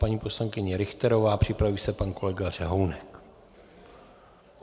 Paní poslankyně Richterová, připraví se pan kolega Řehounek.